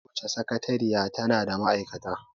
Kowace sakateriya tana da ma'aikata